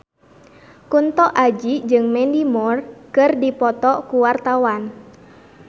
Kunto Aji jeung Mandy Moore keur dipoto ku wartawan